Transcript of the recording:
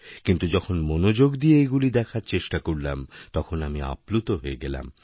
কিন্তুযখন মনোযোগ দিয়ে এগুলি দেখার চেষ্টা করলাম তখন আমি আপ্লুত হয়ে গেলাম